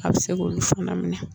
A bɛ se k'olu fana minɛ